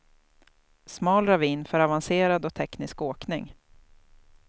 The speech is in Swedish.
Smal ravin för avancerad och teknisk åkning.